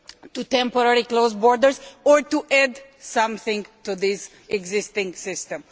to temporarily close borders, or to add something to the existing system.